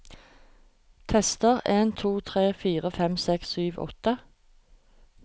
Tester en to tre fire fem seks sju åtte